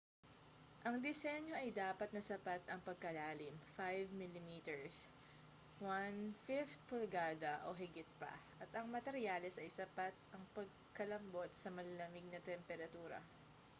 ang disenyo ay dapat na sapat ang pagkalalim 5 mm 1/5 pulgada o higit pa at ang materyales ay sapat ang pagkalambot sa malalamig na temperatura